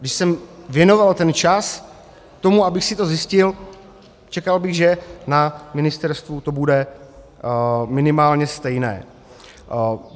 Když jsem věnoval ten čas tomu, abych si to zjistil, čekal bych, že na ministerstvu to bude minimálně stejné.